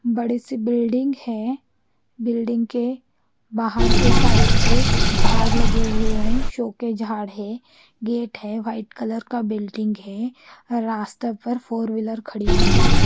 बड़ी सी बिल्डिंग है बिल्डिंग के बाहर की साइड पे जाड लगे हुए है सोके जाड है गेट है वाइट कलर का बिल्डिंग रास्ते पर फॉरविलर खड़ी हुई है।